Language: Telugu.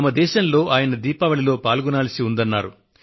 తమ దేశంలో ఆయన దీపావళిలో పాల్గొనాల్సివుందన్నారు